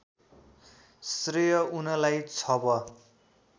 श्रेय उनैलाई छव